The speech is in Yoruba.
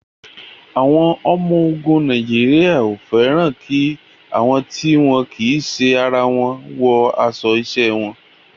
Àwọn ọmọ ogun Nàìjíríà ò fẹ́ràn kí àwọn tí wọn kì í ṣe ara wọn wọ aṣọ iṣẹ́ wọn.